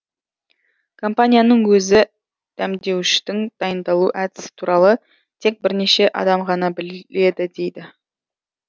компанияның өзі дәмдеуіштің дайындалу әдісі туралы тек бірнеше адам ғана біледі дейді